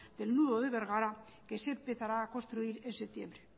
del nudo de bergara que se empezará a construir en septiembre